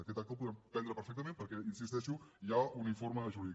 aquest acte el podem prendre perfectament perquè hi insisteixo hi ha un informe jurídic